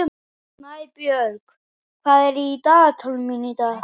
Snæborg, hvað er í dagatalinu mínu í dag?